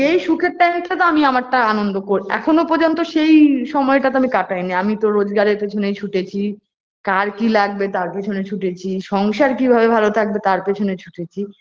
সেই সুখের time -টা তো আমি আমারটা আনন্দ করে এখনো পর্যন্ত সেই সময়টাতো কাটাইনি আমি তো রোজগারের পেছনেই ছুটেছি, কার কী লাগবে তার পেছনে ছুটেছি সংসার কী করে ভালো থাকবে তার পিছনে ছুটেছি